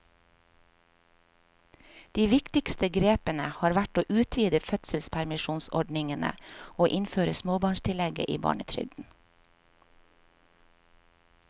De viktigste grepene har vært å utvide fødselspermisjonsordningene og innføre småbarnstillegget i barnetrygden.